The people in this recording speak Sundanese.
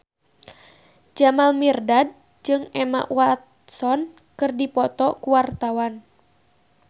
Jamal Mirdad jeung Emma Watson keur dipoto ku wartawan